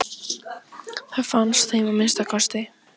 Það fannst þeim að minnsta kosti.